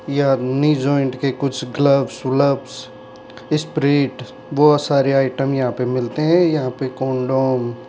यह new joint के कुछ ग्लब्स वालभ्स स्पिरिट बहुत सारे आइटम यहां पे मिलते हैं यहां पे कंडोम --